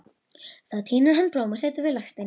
Þá tínir hann blóm og setur við legsteininn.